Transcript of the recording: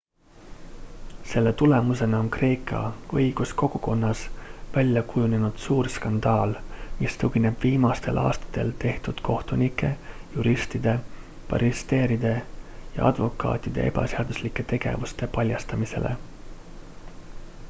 selle tulemusena on kreeka õiguskogukonnas välja kujunenud suur skandaal mis tugineb viimastel aastatel tehtud kohtunike juristide barristeride ja advokaatide ebaseaduslike tegevuste paljastamisele